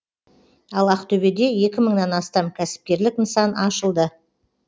ал ақтөбеде екі мыңнан астам кәсіпкерлік нысан ашылды